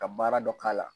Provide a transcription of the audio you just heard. Ka baara dɔ k'a la